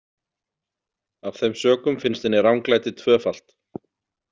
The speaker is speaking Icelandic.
Af þeim sökum finnst henni ranglætið tvöfalt.